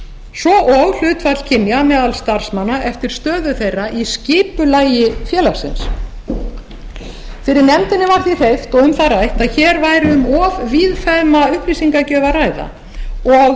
svo og hlutfall kynja meðal starfsmanna eftir stöðu þeirra í skipulagi félagsins fyrir nefndinni var því hreyft og um það rætt að hér væri um of víðfeðma upplýsingagjöf að ræða og